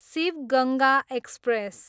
Shiv Ganga express